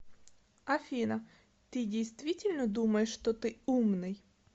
афина ты действительно думаешь что ты умный